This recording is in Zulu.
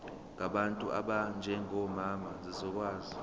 ngabantu abanjengomama zizokwazi